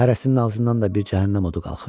Hərəsinin ağzından da bir cəhənnəm odu qalxır.